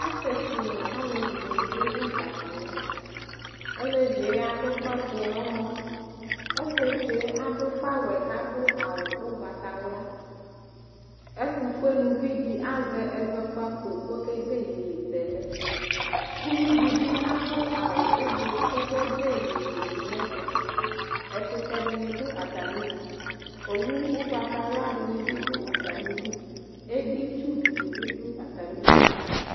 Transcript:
Asɩetsu nʋ alevidɩnɩ dʋ ɩdza kala, olevie adʋfafue n'ɛmɔ, osietsue adʋgawɛ k'adʋ awʋ ʋgbatawla Etʋfueluvidɩ azɛ ɛzɔkpako k'okede yeyezɛlɛ ; uvidɩ bɩ adʋ awʋ ʋblʋ k'okede yeyetunɛtʋ Ɛkʋtɛdɩnɩ dʋ atamidu, owu ʋgbatawladɩnɩ bɩ dʋ atamidu , editsudɩnɩ bɩ dʋ atamidu